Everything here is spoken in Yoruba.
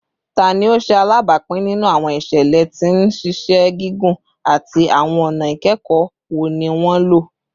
Tani o ṣe alabapin ninu awọn iṣẹlẹ ti nṣiṣẹ gigun, ati awọn ọna ikẹkọ wo ni wọn lo?